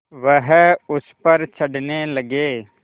वह उस पर चढ़ने लगे